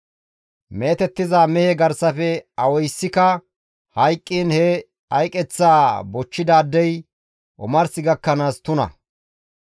« ‹Meetettiza mehe garsafe awaysikka hayqqiin he hayqeththaa bochchidaadey omars gakkanaas tuna.